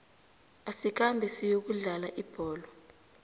asikhambe siyokudlala ibholo